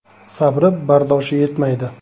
Sabri, bardoshi yetmaydi.